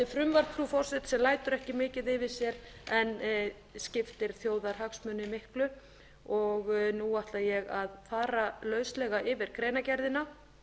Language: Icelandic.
frú forseti sem lætur ekki mikið yfir sér en skiptir þjóðarhagsmuni miklu og nú ætla ég að fara lauslega yfir greinargerðina